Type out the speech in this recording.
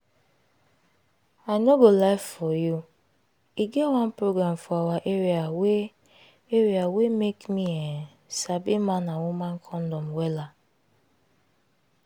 i no go lie for you e get one program for awa area wey area wey make me[um]sabi man and woman condom wella